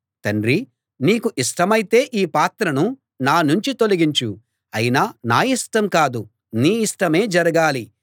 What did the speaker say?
తండ్రీ నీకు ఇష్టమైతే ఈ పాత్రను నా నుంచి తొలగించు అయినా నా ఇష్టం కాదు నీ ఇష్టమే జరగాలి